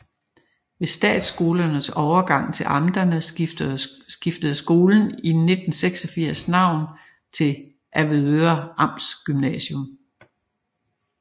Ved statsskolernes overgang til amterne skiftede skolen i 1986 navn til Avedøre Amtsgymnasium